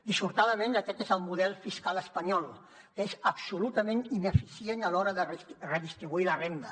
dissortadament aquest és el model fiscal espanyol que és absolutament ineficient a l’hora de redistribuir la renda